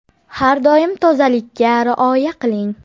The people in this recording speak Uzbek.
Har doim tozalikka rioya qiling.